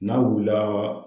N'a wulila